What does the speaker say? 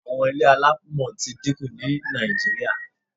Àwọn ilé alámọ̀ ti dí ku ní Nàìjíríà